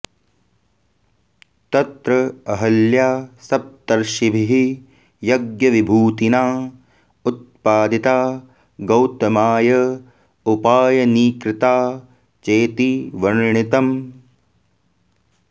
तत्र अहल्या सप्तर्षिभिः यज्ञविभूतिना उत्पादिता गौतमाय उपायनीकृता चेति वर्णितम्